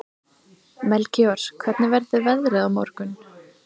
Melkíor, hvernig verður veðrið á morgun?